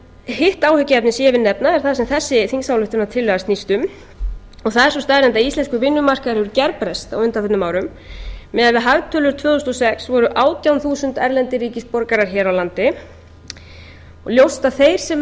hitt áhyggjuefnið sem ég vil nefna er það sem þessi þingsályktunartillaga snýst um og það er sú staðreynd að íslenskur vinnumarkaður hefur gerbreyst á undanförnum árum miðað við hagtölur tvö þúsund og sex voru átján þúsund erlendir ríkisborgarar hér á landi og ljóst að þeir sem